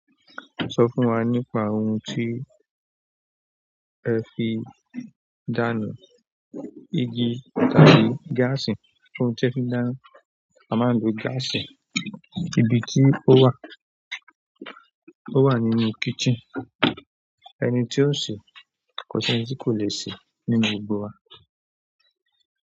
Sọ fún wa nípa ohun tí ẹ fi dáná, igi tàbí gáàsì? Ohun tí a fi ń dáná, a máa ń lo gáàsì. Ibi tí ó wà, ó wà nínú kitchen. Ẹni tí ó ń ṣe, kòṣi ẹni tí kò le ṣe nínú gbogbo wa.